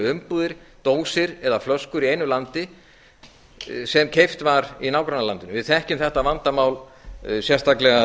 umbúðir dósir eða flöskur í einu landi sem keypt var í nágrannalandinu við þekkjum þetta vandamál sérstaklega